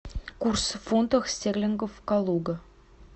курс фунтах стерлингов калуга